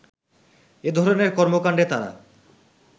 এধরনের কর্মকান্ডে তারা